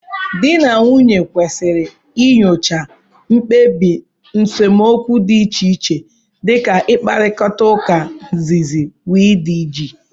Di na nwunye kwesịrị inyocha mkpebi nsemokwu dị iche iche dị ka mkparita uka, nzizi, wdg.